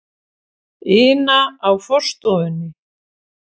ina á forstofunni.